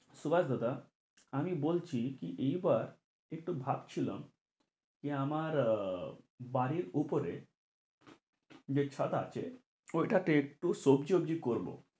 সুভাষ দাদা আমি বলছি কি এইবার একটু ভাবছিলাম কি আমার আহ বাড়ির উপরে যে ছাদ আছে ওইটাতে একটু সবজি-ওবজি করবো,